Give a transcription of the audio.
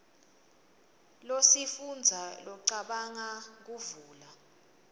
kusifundza locabanga kuvula